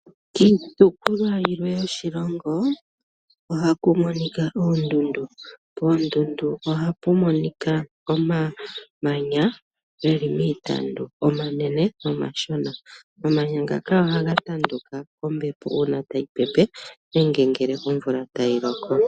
Kiitopolwa yilwe yoshilongo ohaku monika oondundu. Koondundu ohaku monika omamanya geli miitandu omanene nomashona omamanya ngaka ohaga tanduka kombepo una tayi pepe nenge ngele omvula tayi loko.